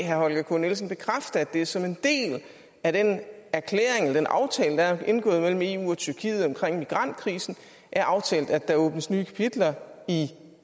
herre holger k nielsen bekræfte at det som en del af den aftale der er indgået mellem eu og tyrkiet om migrantkrisen er aftalt at der åbnes nye kapitler i